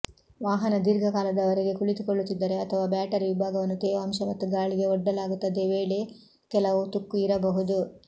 ವಾಹನ ದೀರ್ಘಕಾಲದವರೆಗೆ ಕುಳಿತುಕೊಳ್ಳುತ್ತಿದ್ದರೆ ಅಥವಾ ಬ್ಯಾಟರಿ ವಿಭಾಗವನ್ನು ತೇವಾಂಶ ಮತ್ತು ಗಾಳಿಗೆ ಒಡ್ಡಲಾಗುತ್ತದೆ ವೇಳೆ ಕೆಲವು ತುಕ್ಕು ಇರಬಹುದು